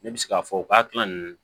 Ne bɛ se k'a fɔ u ka kilan nunnu